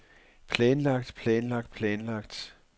planlagt planlagt planlagt